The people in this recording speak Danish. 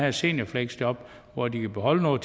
et seniorfleksjob hvor de kan beholde noget